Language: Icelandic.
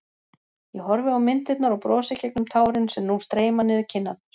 Ég horfi á myndirnar og brosi gegnum tárin sem nú streyma niður kinnarnar.